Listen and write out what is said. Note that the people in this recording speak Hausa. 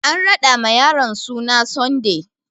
Ana raɗa ma yaron suna Sunday